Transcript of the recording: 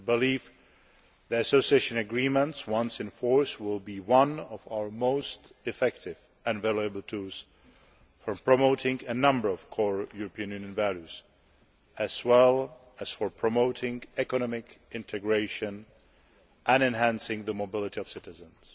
I believe that the Association Agreements, once in force, will be one of our most effective and valuable tools in promoting a number of core European Union values, as well as in promoting economic integration and enhancing the mobility of citizens.